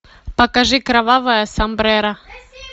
покажи кровавое сомбреро